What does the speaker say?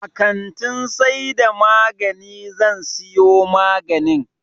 A kantin saida magani zan siyo maganin